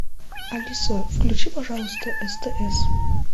алиса включи пожалуйста стс